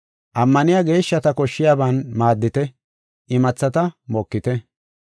Ammaniya geeshshata koshshiyaban maaddite; imathata mokite.